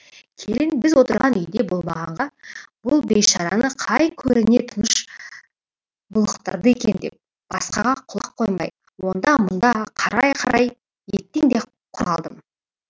келін біз отырған үйде болмағанға бұл бейшараны қай көріне тыныш булықтырды екен деп басқаға құлақ қоймай онда мұнда қарай қарай еттен де құр қалдым